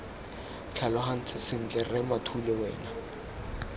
tlhalogantse sentle rre mathule wena